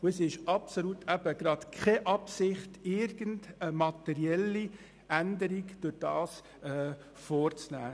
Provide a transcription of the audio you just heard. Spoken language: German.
Es besteht absolut keine Absicht, dadurch irgendeine materielle Änderung vorzunehmen.